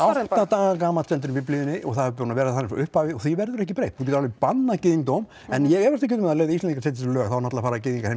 átta daga gamall stendur í Biblíunni það er búið að vera þannig frá upphafi og því verður ekki breytt þú getur alveg bannað gyðingdóm en ég efast ekki um að ef Íslendingar setja lög þá fara gyðingar heim